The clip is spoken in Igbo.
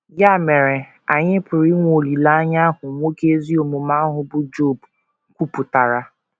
Ya mere, anyị pụrụ inwe olileanya ahụ nwoke ezi omume ahụ bụ́ Job kwupụtara.